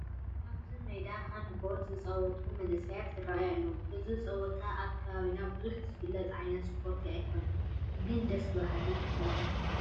ኣብዚ ሜዳ ሃንድ ቦል ዝፃወቱ መናእሰይ ይርአዩ ኣለዉ፡፡ እዚ ፃውቲ ኣብ ከባቢና ብዙሕ ዝፍለጥ ዓይነት ስፖርቲ ኣይኮነን፡፡ ግን ደስ በሃሊ እዩ፡፡